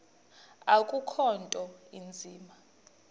akukho nto inzima